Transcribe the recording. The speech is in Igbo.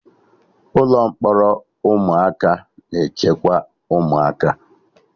Ụlọ mkpọrọ ụmụaka na-echekwa ụmụaka